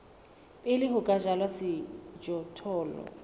pele ho ka jalwa sejothollo